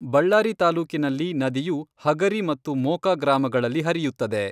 ಬಳ್ಳಾರಿ ತಾಲೂಕಿನಲ್ಲಿ ನದಿಯು ಹಗರಿ ಮತ್ತು ಮೋಕ ಗ್ರಾಮಗಳಲ್ಲಿ ಹರಿಯುತ್ತದೆ.